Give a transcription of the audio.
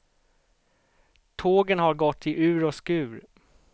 Tågen har gått i ur och skur.